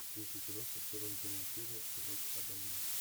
включи кино с актером джимом керри век адалин